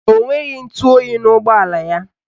Ọ nweghị ntụoyi n'ụgbọala ya.